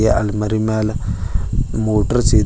ಏ- ಅಲ್ಮಾರಿ ಮೇಲೆ ಮೋಟರ್ಸ್ ಇದೆ.